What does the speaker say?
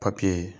papiye